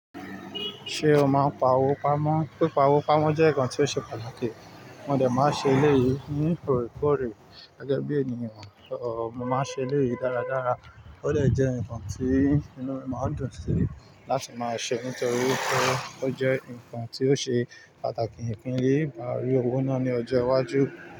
Ṣé o máa ń pa owó pamọ́? Pipawó pamọ́ jẹ́ nǹkan tí ó ṣe pàtàkì, mo de máa ń ṣe eléyìí ní oorekoore gẹ́gẹ́ bí ènìyàn, mo máa ń ṣe eléyìí dáradára, ó dè jẹ́ ǹnkan tí inú mi máa ń dùn sí láti máa ṣe nítorí wipé ó jẹ́ ǹnkan tí ó ṣe pàtàkì ìfin lẹ́ màa rí owó ná ní ọjọ́ iwájú.